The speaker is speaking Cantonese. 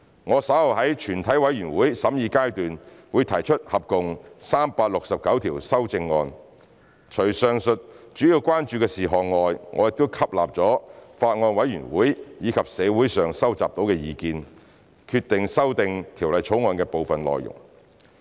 我稍後會在全體委員會審議階段提出合共369項修正案，除上述主要關注事項外，我們亦吸納了法案委員會及社會上收集到的意見，決定修訂《條例草案》的部分內容。